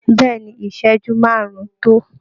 Bẹ́ẹ̀ ni, ìṣẹ́jú márùn-ún tó